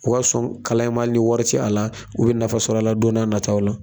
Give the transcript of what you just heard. O ka sɔn kalan in ma ali ni wari ci a la u be nafa sɔrɔ ala don na taw la